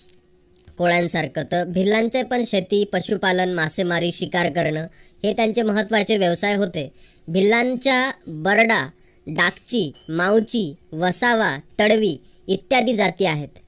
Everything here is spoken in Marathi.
कोळ्यासारखा तर भिल्लांच पण शेती, पशुपालन, मासेमारी, शिकार करण हे त्यांचे महत्वाचे व्यवसाय होते. भिल्लांच्या बरडा, डाकची, माऊची, वसावा, तडवी इत्यादी जाती आहेत.